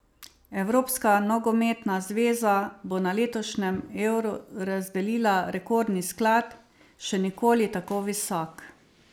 Evropska nogometna zveza bo na letošnjem Euru razdelila rekordni sklad, še nikoli tako visok.